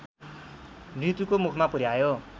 मृत्युको मुखमा पुर्‍यायो